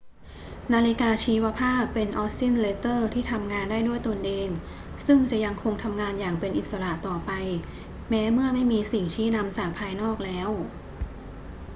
นาฬิกาชีวภาพเป็นออสซิลเลเตอร์ที่ทำงานได้ด้วยตนเอง ซึ่งจะยังคงทำงานอย่างเป็นอิสระต่อไปแม้เมื่อไม่มีสิ่งชี้นำจากภายนอกแล้ว